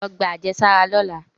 Lọ gba ajesara lọla!